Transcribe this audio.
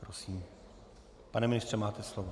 Prosím, pane ministře, máte slovo.